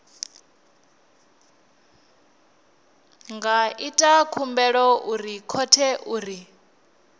nga ita khumbelo khothe uri